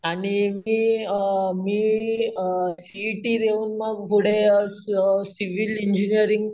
आणि मी अम मी अम सी इ टी देऊन पुढे मग अम स सिविल इंजिनिअरिंग